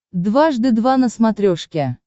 дважды два на смотрешке